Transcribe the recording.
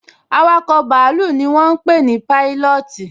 Awakọ̀ bàálù ni wọ́n ń pé ní Pailọọti